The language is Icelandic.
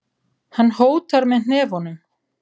Hann hótar með hnefunum.